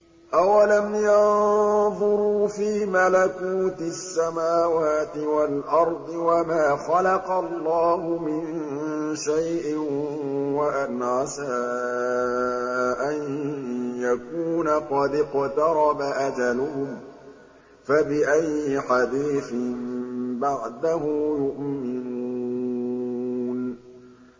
أَوَلَمْ يَنظُرُوا فِي مَلَكُوتِ السَّمَاوَاتِ وَالْأَرْضِ وَمَا خَلَقَ اللَّهُ مِن شَيْءٍ وَأَنْ عَسَىٰ أَن يَكُونَ قَدِ اقْتَرَبَ أَجَلُهُمْ ۖ فَبِأَيِّ حَدِيثٍ بَعْدَهُ يُؤْمِنُونَ